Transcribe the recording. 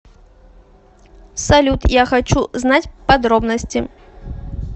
салют я хочу знать подробности